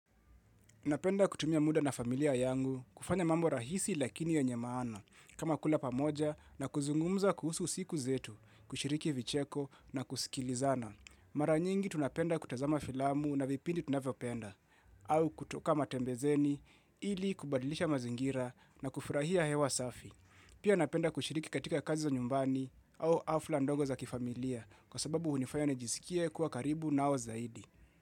Napenda kutumia mda na familia yangu kufanya mambo rahisi lakini yenye maana kama kula pamoja na kuzungumza kuhusu siku zetu, kushiriki vicheko na kusikilizana. Mara nyingi tunapenda kutazama filamu na vipindi tunavyopenda au kutoka matembezeni ili kubadilisha mazingira na kufurahia hewa safi. Pia napenda kushiriki katika kazi za nyumbani au hafla ndogo za kifamilia kwa sababu hunifanya nijisikie kuwa karibu nao zaidi.